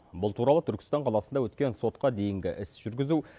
бұл туралы түркістан қаласында өткен сотқа дейінгі іс жүргізу